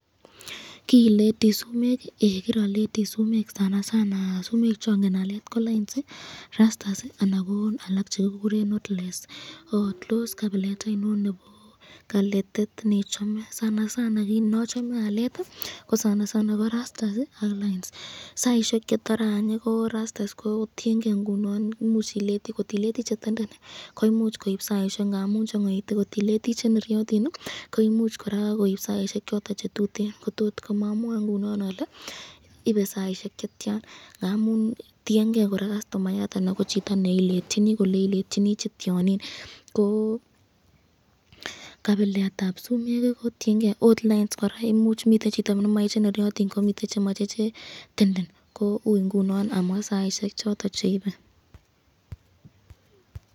Kirileti sumek ii, kiraleti sumek sumek cangen alet ko lains ,rastas anan ko alak chekikeren notelesd tos kabilet ainon nebo kaletet nechome, nachome alet ko rastas ak lains saisyek chetore any ko rastas ko tienke ingunon imuch ileti ,kot ileti chetenden koimuch koib saisyek ngamun changaitu ,kot ileti cheneyotin koimuch koraa koib saisyek choton chetuten komamwe ingunon ale ibe saisyek cheyyan ngamun tienge kastomayat anan ko chito neiletyolini kole iletyini che ttyonin .